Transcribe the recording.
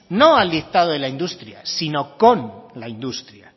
no al dictado de la industria sino con la industria